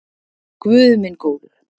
Guð minn góður